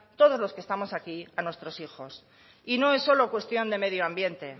todos los que estamos aquí a nuestros hijos y no es solo cuestión de medio ambiente